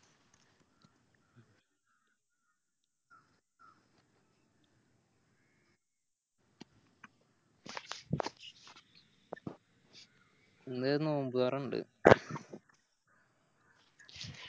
ഇന്നൊരു നോമ്പൊറ ഇണ്ട്